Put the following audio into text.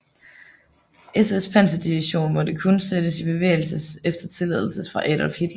SS panserdivision måtte kun sættes i bevægelses efter tilladelse fra Adolf Hitler